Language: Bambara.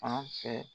Fan fɛ